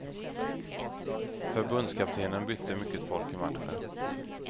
Förbundskaptenen bytte mycket folk i matchen.